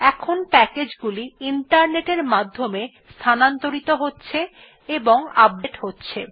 এখন প্যাকেজগুলি ইন্টারনেটের মাধ্যমে স্থানান্তরিত হচ্ছে এবং আপডেট হচ্ছে